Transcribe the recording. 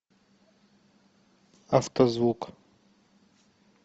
автозвук